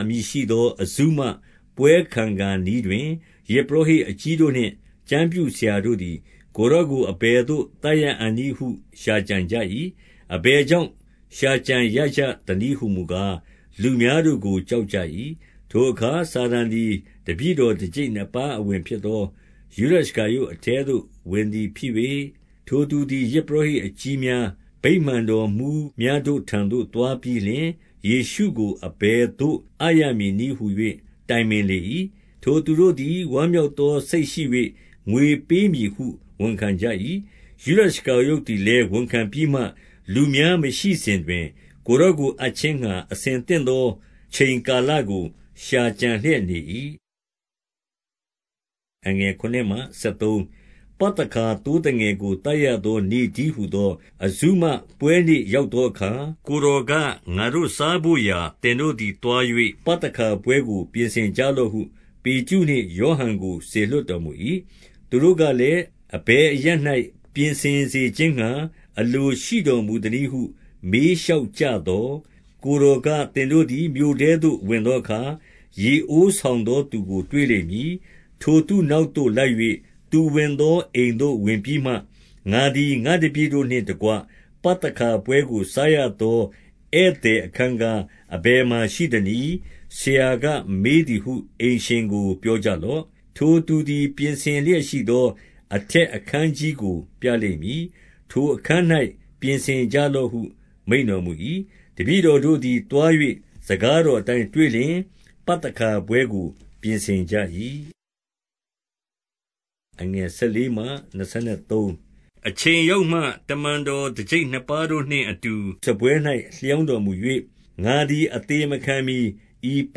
အမည်ရှိသော အဇုမပွဲခံခါနီးတွင်၊ ယဇ်ပုရောဟိတ်အကြီးတို့နှင့် ကျမ်းပြုဆရာတို့သည် ကိုယ်တော်ကို အဘယ်သို့သတ်ရအံ့နည်းဟု ရှာကြံရကြသနည်းဟူမူကား၊ လူများတို့ကို ကြောက်ကြ၏။ ထိုအခါ စာတန်သည် တပည့်တော်တကျိပ်နှစ်ပါးအဝင်ဖြစ်သော ယုဒရှကာရုတ်အထဲသို့ဝင်သည် ဖြစ်၍၊ ထိုသူသည် ယဇ်ပုရောဟိတ်အကြီးများ၊ ဗိမာန်တော်မှူးများတို့ထံသို့ သွားပြီးလျှင်၊ ယေရှုကို အဘယ် သို့ အပ်ရမည်နည်းဟူ၍ တိုင်ပင်လေ၏။ ထိုသူတို့သည် ဝမ်းမြောက်သောစိတ်ရှိ၍ ငွေပေးမည်ဟု ဝန်ခံကြ၏။ ယုဒရှကာရုတ်သည်လည်း ဝန်ခံပြီးမှ လူများမရှိစဉ်တွင် ကိုယ်တော်ကို အပ်ခြင်းငှါ အဆင်သင့်သော အချိန်ကာလကို ကြံလျက်နေ၏။ ပသခါသိုးသငယ်ကို သတ်ရသောနေ့တည်းဟူသော အဇုမပွဲနေ့ရောက်သောအခါ၊ ကိုယ်တော်က၊ ငါတို့ စားဘို့ရာ သင်တို့သည်သွား၍ ပသခါပွဲကို ပြင်ဆင်ကြလော့ဟု ပေတရုနှင့် ယောဟန်ကို စေလွှတ်တော်မူ၏။ သူတို့ကလည်း၊ အဘယ်အရပ်၌ ပြင်ဆင်စေခြင်းငှါ အလိုရှိတော်မူသနည်းဟု မေးလျှောက်ကြသော်၊ ကိုယ်တော်က၊ သင်တို့သည် မြို့ထဲသို့ဝင်သောအခါ ရေအိုးဆောင်သောသူကိုတွေ့လိမ့်မည်။ ထိုသူ နောက်သို့ လိုက်၍ သူဝင်သောအိမ်သို့ ဝင်ပြီးမှ၊ ငါသည် ငါ့တပည့်တို့နှင့်တကွ ပသခါပွဲကိုစားရသော ဧည့်သည်အခန်းကား အဘယ်မှာရှိသနည်း။ ဆရာက မေးသည်ဟု အိမ်ရှင်ကို ပြောကြလော့။ ထိုသူသည် ပြင်ဆင်လျက်ရှိသော အထက်အခန်းကြီးကို ပြလိမ့်မည်။ ထိုအခန်း၌ ပြင်ဆင်ကြလော့ဟု မိန့်တော်မူ၏။ တပည့်တောတို့သည် သွား၍ စကားတော်အတိုင်းတွေ့လျှင်၊ ပသခါပွဲကို ပြင်ဆင်ကြ၏။ အချိန်ရောက်မှ တမန်တော်တကျိပ်နှစ်ပါးတို့နှင့်အတူ စားပွဲ၌ လျောင်းတော်မူ၍၊ ငါသည် အသေမခံမှီ ဤပ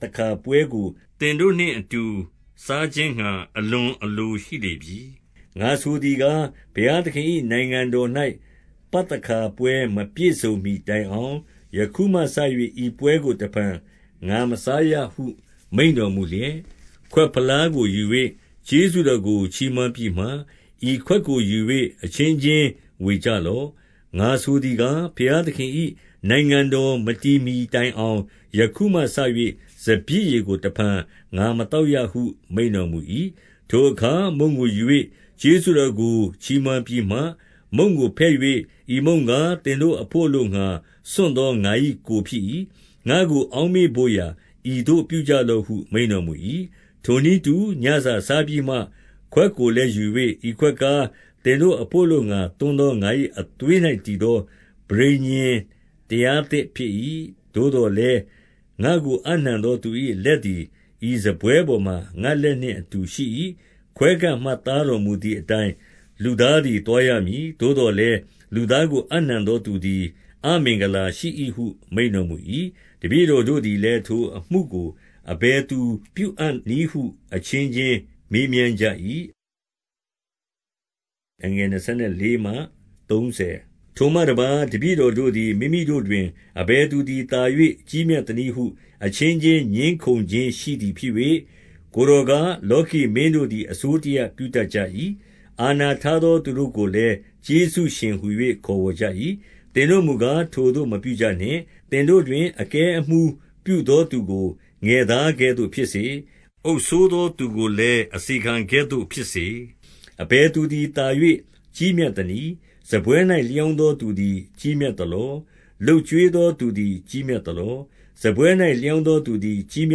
သခါပွဲကို သင်တို့နှင့်အတူ စားခြင်းငှါ အလွန်အလိုရှိလေပြီ။ ငါဆိုသည်ကား၊ ဘုရားသခင်၏ နိုင်ငံတော်၌ ပသခါပွဲမပြည့်စုံမှီတိုင်အောင် ယခုမှစ၍ ဤပွဲကို တဖန် ငါမစားရဟု မိန့်တော်မူလျက်၊ ခွက်ဖလားကို ယူ၍ ကျေးဇူးတော်ကို ချီးမွမ်းပြီးမှ၊ ဤခွက်ကို ယူ၍ အချင်းချင်းဝေကြလော့။ ငါဆိုသည်ကား၊ ဘုရားသခင်၏ နိုင်ငံတော် မတည်မှီတိုင်အောင် ယခုမှစ၍ စပျစ်ရည်ကိုတဖန် ငါ မသောက်ရဟု မိန့်တော်မူ၏။ ထိုအခါ မုန့်ကိုယူ၍ ကျေးဇူးတော်ကိုချီးမွမ်းပြီးမှ မုန့်ကိုဖဲ့၍၊ ဤမုန့်ကား သင်တို့အဘို့ အလိုငှါ စွန့်သော ငါ၏ကိုယ် ဖြစ်၏။ ငါ့ကို အောက်မေ့ဘို့ရာ ဤသို့ပြုကြလော့ဟု မိန့်တော်မူ၏။ ထိုနည်းတူညစာစားပြီးမှ ခွက်ကိုလည်းယူ၍၊ ဤခွက်ကား သင်တို့အဘို့အလိုငှါ သွန်းသော ငါ၏ အသွေး၌တည်သော ပဋိညာဉ်တရားသစ်ဖြစ်၏။ သို့သော်လည်း ငါ့ကို အပ်နှံသောသူ၏လက်သည် ဤစားပွဲပေါ်မှာ ငါ့လက်နှင့်အတူရှိ၏။ ခွဲခန့်မှတ်သားတော်မူသည်အတိုင်း လူသားသည် သွားရမည်။ သို့သော်လည်း လူသားကို အပ်နှံသော သူသည် အမင်္ဂလာရှိ၏ဟု မိန့်တော်မူ၏။ တပည့်တော်တို့သည်လည်း ထိုအမှုကို အဘယ်သူပြုအံ့နည်းဟု အချင်းချင်း မေးမြန်းကြ၏။ ထိုမှတပါး တပည့်တော်တို့သည် မိမိတို့တွင် အဘယ်သူသည် သာ၍ ကြီးမြတ်သနည်းဟု အချင်းချင်း ငြင်းခုံခြင်းရှိသည်ဖြစ်၍၊ ကိုယ်တော်က၊ လောကီမင်းတို့သည် အစိုးတရပြုတတ်ကြ၏။ အာဏာထားသောသူတို့ကိုလည်း ကျေးဇူးရှင်ဟူ၍ ခေါ်ဝေါ်ကြ၏။ သင်တို့မူကား ထိုသို့မပြုကြနှင့်၊ သင်တို့တွင် အကဲအမှူးပြုသောသူကို ငယ်သားကဲ့သို့ဖြစ်စေ။ အုပ်စိုး သောသူကိုလည်း အစေခံကဲ့သို့ဖြစ်စေ။ အဘယ်သူသည် သာ၍ ကြီးမြတ်သနည်း။ စားပွဲ၌ လျောင်းသောသူသည် ကြီးမြတ်သလော။ လုပ် ကျွေးသောသူသည် ကြီးမြတ်သလော။ စားပွဲ၌ လျောင်းသောသူသည်ကြီးမြ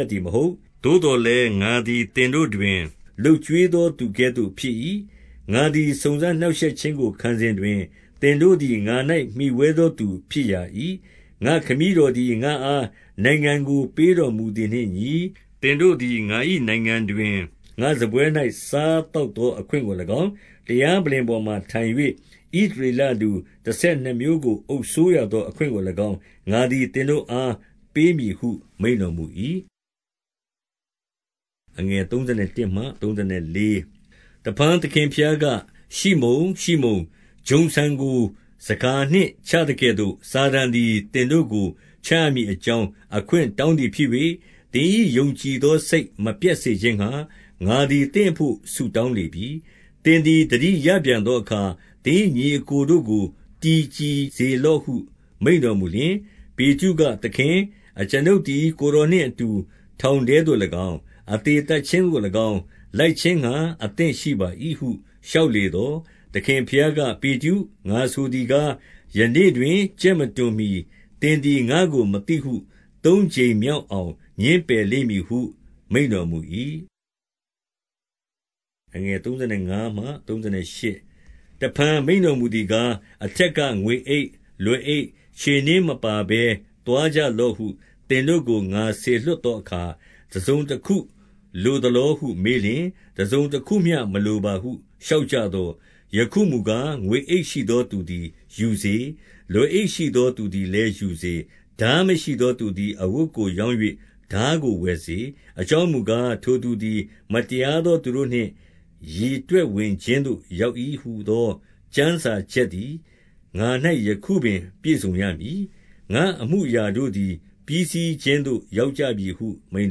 တ်သည်မဟုတ်လော။ သို့သော် လည်း ငါသည် သင်တို့တွင် လုပ်ကျွေးသောသူကဲ့သို့ဖြစ်၏။ ငါသည် စုံစမ်းနှောင့်ရှက်ခြင်းကို ခံစဉ်တွင် သင်တို့သည် ငါ၌မှီဝဲသောသူဖြစ်ရာ၏။ ငါ့ခမည်းတော်သည် ငါ့အား နိုင်ငံကို ပေးတော်မူသည်နှင့်အညီ၊ သင်တို့သည် ငါ၏နိုင်ငံတွင် ငါ့စားပွဲ၌ စားသောက်သောအခွင့်ကို၎င်း၊ တရားပလ္လင်ပေါ်မှာထိုင်၍ ဣသရေလလူတဆယ်နှစ်မျိုးကို အုပ်စိုးရသောအခွင့်ကို၎င်း၊ ငါသည် သင်တို့အား ပေးမည်ဟု မိန့်တော်မူ၏။ တဖန် သခင်ဘုရားက၊ ရှိမုန်၊ ရှိမုန်၊ ဂျုံဆန်ကို ဆန်ခါနှင့်ချသကဲ့သို့ စာတန်သည် သင်တို့ကို ချရမည် အကြောင်း အခွင့်တောင်းသည်ဖြစ်၍၊ သင်၏ယုံကြည်သောစိတ် မပျက်စေခြင်းငှါ ငါသည် သင့်အဘို့ဆုတောင်းလေပြီ။ သင်သည် သတိရ ပြန်သောအခါ သင်၏ညီအစ်ကိုတို့ကို တည်ကြည်စေလော့ဟု မိန့်တော်မူလျှင်၊ ပေတရုက၊ သခင်၊ အကျွန်ုပ်သည် ကိုယ်တော်နှင့်အတူ ထောင်ထဲသို့၎င်း၊ အသေသတ်ခြင်းသို့၎င်း လိုက်ခြင်းငှါ အသင့်ရှိပါ၏ဟု လျှောက်လေသော်၊ သခင်ဘုရားက၊ ပေတရု၊ ငါဆိုသည်ကား၊ ယနေ့တွင် ကြက်မတွန်မှီ သင်သည် ငါ့ကို မသိဟု သုံးကြိမ်မြောက်အောင် ငြင်းပယ်လိမ့်မည်ဟု မိန့်တော်မူ၏။ တဖန် မိန့်တော်မူသည်ကား၊ အထက်က ငွေအိတ်၊ လွယ်အိတ်၊ ခြေနင်းမပါဘဲ သွားကြလော့ဟု သင်တို့ကို ငါစေလွှတ်သောအခါ တစုံတခုလိုသလောဟု မေးလျှင်၊ တစုံတခုမျှ မလိုပါဟု လျှောက်ကြသော်၊ ယခုမူကား ငွေအိတ်ရှိသောသူသည် ယူစေ။ လွယ်အိတ်ရှိသောသူသည် ယူစေ။ ထားမရှိသော သူသည် အဝတ်ကိုရောင်း၍ ထားကိုဝယ်စေ။ အကြောင်းမူကား၊ ထိုသူသည် မတရားသောသူတို့နှင့် ရေတွက်ဝင်ခြင်းသို့ ရောက်၏ဟူသော ကျမ်းစာ ချက်သည် ငါ၌ ယခုပင် ပြည့်စုံရမည်။ ငါ့အမှုအရာတို့သည် ပြီးစီးခြင်းသို့ ရောက်ကြပြီဟု မိန့်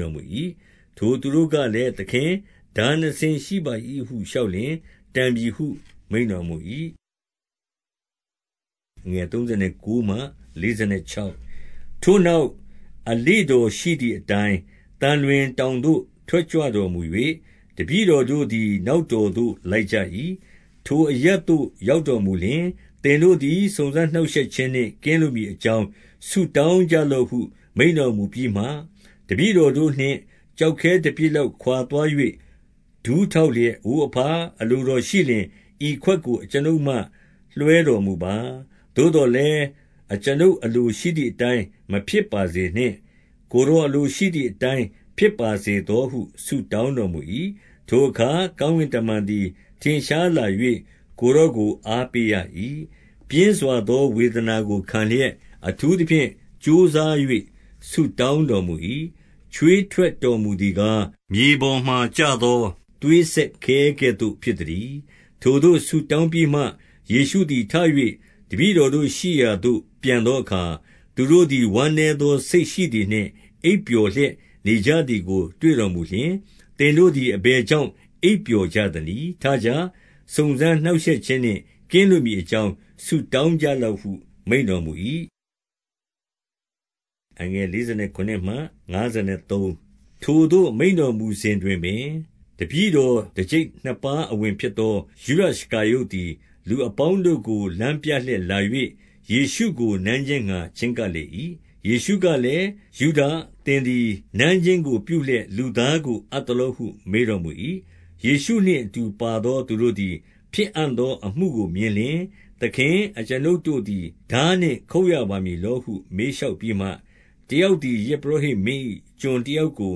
တော်မူ၏။ ထိုသူတို့ကလည်း၊ သခင်၊ ထားနှစ်စင်းရှိပါ၏ဟု လျှောက်လျှင်၊ တန်ပြီဟု မိန့်တော်မူ၏။ ထိုနောက် အလေ့တော်ရှိသည်အတိုင်း သံလွင်တောင်သို့ ထွက်ကြွတော်မူ၍၊ တပည့်တော်တို့သည် နောက်တော်သို့ လိုက်ကြ၏။ ထိုအရပ်သို့ ရောက်တော်မူလျှင်၊ သင်တို့သည် စုံစမ်းနှောင့်ရှက်ခြင်းနှင့် ကင်းလွတ်မည်အကြောင်း ဆု တောင်းကြလော့ဟု မိန့်တော်မူပြီးမှ၊ တပည့်တော်တို့နှင့် ကျောက်ခဲတပစ်လောက် ခွာသွား၍ ဒူးထောက်လျက်၊ အိုအဘ၊ အလိုတော်ရှိလျှင် ဤခွက်ကို အကျွန်ုပ်မှ လွှဲတော်မူပါ။ သို့သော်လည်း အကျွန်ုပ်အလိုရှိ သည်အတိုင်း မဖြစ်ပါစေနှင့်။ ကိုယ်တော်အလိုရှိသည်အတိုင်း ဖြစ်ပါစေသောဟု ဆုတောင်းတော်မူ၏။ ထိုအခါ ကောင်းကင်တမန်သည် ထင်ရှားလာ၍ ကိုယ်တော်ကို အားပေးရ၏။ ပြင်းစွာသောဝေဒနာကိုခံလျက် အထူးသဖြင့်ကြိုးစား၍ ဆုတောင်းတော်မူ၏။ ချွေးထွက်တော်မူသည် ကား၊ မြေပေါ်၌ကျသော သွေးစက်ခဲကဲ့သို့ ဖြစ်သတည်း။ ထိုသို့ ဆုတောင်းပြီးမှ၊ ယေရှုသည်ထ၍ တပည့်တော်တို့ရှိရာသို့ ပြန်သောအခါ၊ သူတို့သည် ဝမ်းနည်း သောစိတ်ရှိသည်နှင့် အိပ်ပျော်လျက် နေကြသည်ကို တွေ့တော်မူလျှင်၊ သင်တို့သည် အဘယ်ကြောင့် အိပ်ပျော်ကြသနည်း။ ထကြ။ စုံစမ်းနှောင့်ရှက်ခြင်းနှင့် ကင်းလွတ်မည် အကြောင်း ဆုတောင်းကြလော့ဟု မိန့်တော်မူ၏။ ထိုသို့ မိန့်တော်မူစဉ်တွင်ပင် တပည့်တော်တကျိပ်နှစ်ပါးအဝင်ဖြစ်သော ယုဒရှကာရုတ်သည် လူ အပေါင်းတို့ကို လမ်းပြလျက်လာ၍၊ ယေရှုကို နမ်းခြင်းငှါ ချဉ်းကပ်လေ၏။ ယေရှုကလည်း၊ ယုဒါ သင်သည် နမ်းခြင်းကို ပြုလျက် လူသားကိုအပ်သလောဟု မေးတော်မူ၏။ ယေရှုနှင့်အတူပါသော သူတို့သည် ဖြစ်အံ့သောအမှုကို မြင်လျှင်၊ သခင်၊ အကျွန်ုပ်တို့သည် ထားနှင့် ခုတ်ရပါမည်လောဟု မေးလျှောက်ပြီးမှ၊ တယောက်သည် ယဇ်ပုရောဟိတ်မင်း၏ ကျွန်တယောက်ကို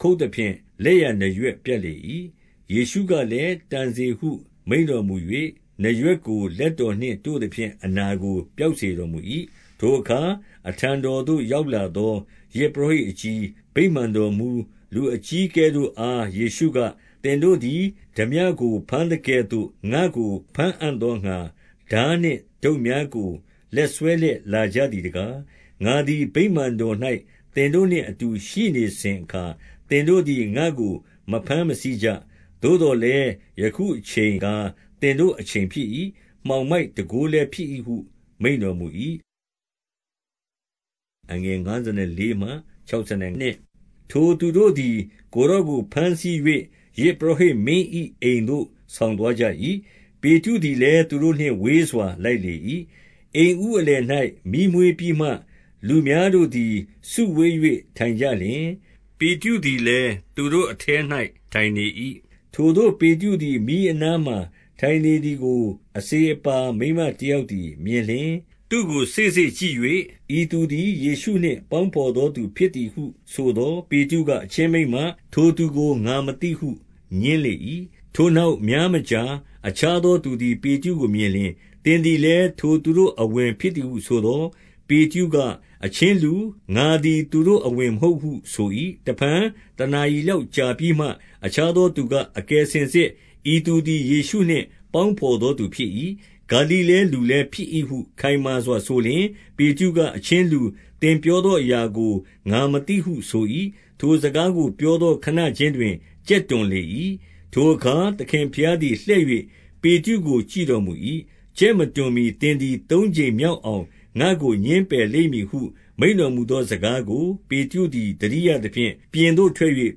ခုတ်သဖြင့် လက်ျာနားရွက်ပြတ်လေ၏။ ယေရှုကလည်း၊ တန်စေဟု မိန့်တော်မူ၍ နားရွက်ကို လက်တော်နှင့်တို့သဖြင့် အနာကို ပျောက်စေ တော်မူ၏။ ထိုအခါ အထံတော်သို့ရောက်လာသော ယဇ်ပုရောဟိတ်အကြီး၊ ဗိမာန်တော်မှူး၊ လူအကြီးအကဲတို့ အား ယေရှုက၊ သင်တို့သည် ထားပြကို ဘမ်းသကဲ့သို့ ငါ့ကို ဘမ်းအံ့သောငှါ ထားနှင့် ဒုတ်များကို လက်စွဲလျက် လာကြသည်တကား။ ငါသည် ဗိမာန်တော်၌ သင်တို့နှင့်အတူ ရှိနေစဉ်အခါ သင်တို့သည် ငါ့ကို မဘမ်းမဆီးကြ။ သို့သော် လည်း ယခုအချိန်ကား သင်တို့အချိန်ဖြစ်၏။ မှောင်မိုက်တန်ခိုးလည်းဖြစ်၏ဟု မိန့်တော်မူ၏။ ထိုသူတို့သည် ကိုယ်တော်ကို ဘမ်းဆီး၍ ယဇ်ပုရောဟိတ်မင်း၏အိမ်သို့ ဆောင်သွားကြ၏။ ပေတရု သည်လည်း သူတို့နှင့် ဝေးစွာလိုက်လေ၏။ အိမ်ဦးအလယ်၌ မီးမွေးပြီးမှ၊ လူများတို့သည် စုဝေး၍ ထိုင်ကြလျှင်၊ ပေတရုသည်လည်း သူတို့အထဲ၌ ထိုင်နေ၏။ ထိုသို့ ပေတရုသည် မီးအနားမှာ ထိုင်နေသည်ကို အစေအပါးမိန်းမတယောက်သည်မြင်လျှင်၊ သူ့ကို စေ့စေ့ကြည့်၍၊ ဤသူသည် ယေရှုနှင့် ပေါင်းဘော်သောသူဖြစ်သည်ဟု ဆိုသော်၊ ပေတရုက၊ အချင်းမိန်းမ၊ ထိုသူကို ငါမသိဟု ငြင်းလေ၏။ ထိုနောက် များမကြာ အခြားသောသူသည် ပေတရုကိုမြင်လျှင်၊ သင်သည်လည်း ထိုသူတို့အဝင်ဖြစ် သည်ဟုဆိုသော်၊ ပေတရုက၊ အချင်းလူ၊ ငါသည် သူတို့ အဝင်မဟုတ်ဟု ဆို၏။ တဖန် တနာရီလောက်ကြာပြီးမှ အခြားသောသူက၊ အကယ်စင်စစ် ဤသူသည် ယေရှုနှင့် ပေါင်းဘော် သောသူဖြစ်၏။ ဂါလိလဲလူလည်း ဖြစ်၏ဟု ခိုင်မာစွာဆိုလျှင်၊ ပေတရုက၊ အချင်းလူ၊ သင်ပြောသောအရာကို ငါမသိဟုဆို၏။ ထိုစကားကိုပြောသော ခဏခြင်းတွင် ကြက်တွန်လေ၏။ ထိုအခါ သခင်ဘုရားသည်လှည့်၍ ပေတရုကို ကြည့်တော်မူ၏။ ကြက် မတွန်မှီ သင်သည် သုံးကြိမ် မြောက်အောင် ငါ့ကို ငြင်းပယ်လိမ့်မည်ဟု မိန့်တော်မူသော စကားကို ပေတရုသည် သတိရသဖြင့်၊ ပြင်သို့ထွက်၍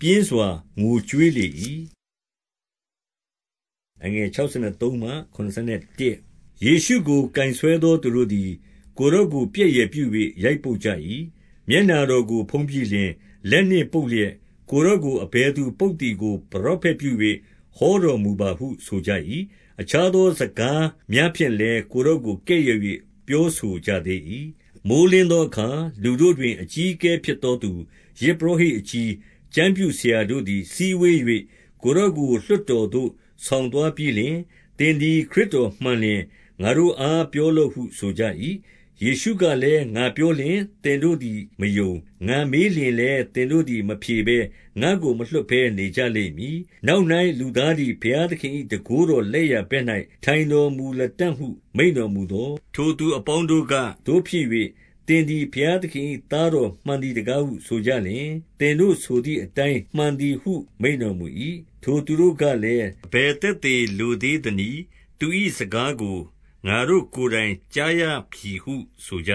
ပြင်းစွာငိုကြွေးလေ၏။ ယေရှုကို ကိုင်ဆွဲသောသူတို့သည် ကိုယ်တော်ကို ပြက်ယယ်ပြု၍ ရိုက်ပုတ်ကြ၏။ မျက်နှာတော်ကိုဖုံးပြီးလျှင် လက်နှင့်ပုတ်လျက်၊ ကိုယ်တော်ကို အဘယ်သူပုတ်သည်ကို ပရောဖက်ပြု ၍ ဟောတော်မူပါဟုဆိုကြ၏။ အခြားသောစကားများဖြင့်လည်း ကိုယ်တော်ကို ကဲ့ရဲ့၍ ပြောဆိုကြသေး၏။ မိုဃ်းလင်းသောအခါ လူတို့တွင် အကြီးအကဲဖြစ်သောသူ၊ ယဇ်ပုရောဟိတ်အကြီး၊ ကျမ်းပြုဆရာတို့ သည် စည်းဝေး၍ ကိုယ်တော်ကို လွှတ်တော်သို့ ဆောင်သွားပြီးလျှင်၊ သင်သည် ခရစ်တော်မှန်လျှင် ငါတို့အား ပြောလော့ဟုဆိုကြ၏။ ယေရှုကလည်း၊ ငါပြောလျှင် သင်တို့ သည် မယုံ။ ငါမေးလျှင်လည်း သင်တို့သည် မဖြေဘဲ၊ ငါ့ကို မလွှတ်ဘဲနေကြလိမ့်မည်။ နောက်၌ လူသားသည် ဘုရားသခင်၏ တန်ခိုးတော်လက်ျာဘက်၌ ထိုင်တော်မူလတံ့ဟု မိန့်တော်မူ သော်၊ ထိုသူအပေါင်းတို့က၊ သို့ဖြစ်၍ သင်သည် ဘုရားသခင်၏ သားတော်မှန်သည်တကားဟု ဆိုကြလျှင်၊ သင်တို့ဆိုသည်အတိုင်းမှန်သည်ဟု မိန့်တော်မူ၏။ ထိုသူတို့ကလည်း၊ အဘယ်သက်သေလိုသေးသနည်း။ သူ၏စကားကို ငါတို့ကိုယ်တိုင် ကြားရပြီဟု ဆိုကြ